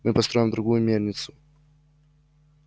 мы построим другую мельницу